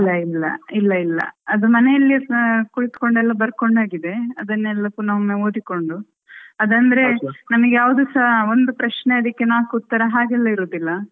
ಇಲ್ಲ ಇಲ್ಲ ಇಲ್ಲ ಇಲ್ಲ ಅದು ಮನೆಯಲ್ಲೆ ಕುಳಿತ್ಕೊಂಡ್ ಎಲ್ಲ ಬರ್ಕೊಂಡಾಗಿದೆ ಅದನ್ನು ಪುನಾ ಒಮ್ಮೆ ಓದಿಕೊಂಡು ಅದಂದ್ರೆ ನಮಿಗೆ ಯಾವ್ದ್ಸ ಒಂದು ಪ್ರಶ್ನೆ ನಾಲ್ಕು ಉತ್ತರ ಹಾಗೆಲ್ಲ ಇರುದಿಲ್ಲ.